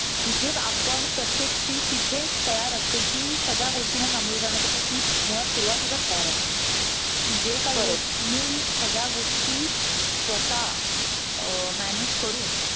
तिथे आपण प्रत्येक स्री तिथेच तयार असते, कि सगळ्या गोष्टींना सामोरे जाण्यासाठी ती मुळात सुरुवातीलाच तयार असते. जे काही होईल ती सगळ्या गोष्टी स्वतः अं manage करून.